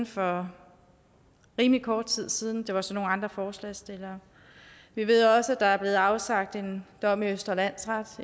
for rimelig kort tid siden det var så med nogle andre forslagsstillere vi ved også at der er blevet afsagt en dom ved østre landsret